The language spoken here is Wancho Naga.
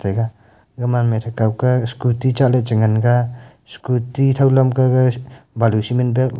gaman ma ethaw ke scooty chi ngan ga scooty thaw lam ke gaga malu cement bag --